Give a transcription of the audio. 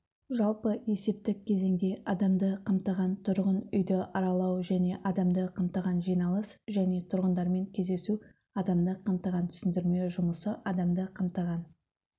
жалпы есептік кезеңде адамды қамтыған тұрғын үйді аралау және адамды қамтыған жиналыс және тұрғындармен кездесу адамды қамтыған түсіндірме жұмысы адамды қамтыған